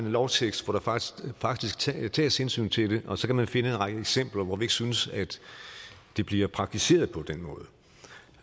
lovtekst hvor der faktisk faktisk tages hensyn til det og så kan man finde en række eksempler hvor vi ikke synes at det bliver praktiseret på den